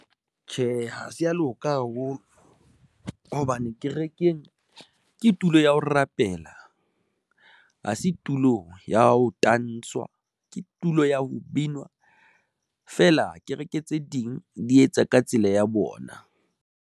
Tjhe, ha se ya loka haholo hobane kerekeng ke tulo ya ho rapela, ha se tulo ya ho tanswa ke tulo ya ho binwa feela kereke tse ding di etsa ka tsela ya bona.